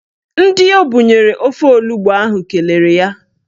Ndị o bunyere ofe onugbo ahụ kelere ya.